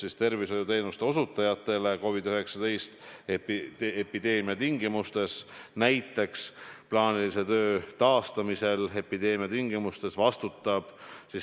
Nii et ma arvan, et kindlasti need lisainvesteeringud, mida tehakse selle viirusega võitlemisel, ei saa tulla plaanilise ravi arvel, vaid need tuleb tasuda eraldi.